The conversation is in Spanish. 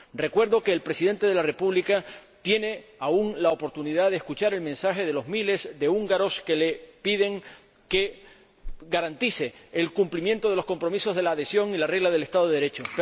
Recuerdo que el Presidente de la República de Hungría tiene aún la oportunidad de escuchar el mensaje de los miles de húngaros que le piden que garantice el cumplimiento de los compromisos de la adhesión y la regla del Estado de Derecho.